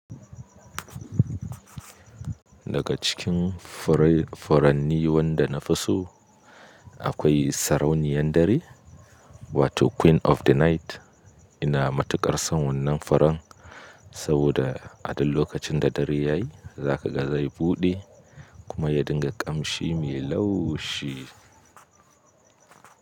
Daga cikin furai furanni wanda na fi so akwai sarauniyan dare wato Queen of the Night. Ina matuƙar son wannan furan saboda a duk lokacin da dare ya yi za ka ga zai buɗe kuma ya dinga ƙamshi mai laushi.